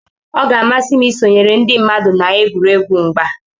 ọ ga-amasị m isonyere ndị mmadụ na egwuregwu mgba